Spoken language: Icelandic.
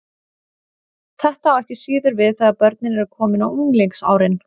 Þetta á ekki síður við þegar börnin eru komin á unglingsárin.